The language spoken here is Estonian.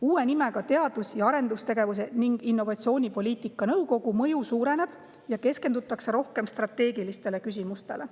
Uue nimega Teadus‑ ja Arendustegevuse ning Innovatsiooni Poliitika Nõukogu mõju suureneb ja keskendutakse rohkem strateegilistele küsimustele.